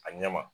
A ɲɛ ma